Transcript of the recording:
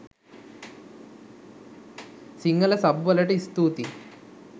Sinhala sub වලට ස්තූතියි.